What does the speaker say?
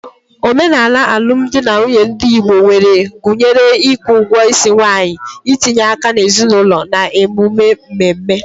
Omenala alụmdi na nwunye ndị Igbo nwere gụnyere ịkwụ ugwo isi nwanyi, itinye aka n’ezinụlọ, na emume mmemme.